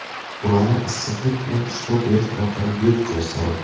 Ularni issiqlik bilan ishlov berish orqali yo‘q qilish zarur.